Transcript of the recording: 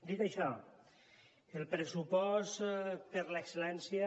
dit això el pressupost per a l’excel·lència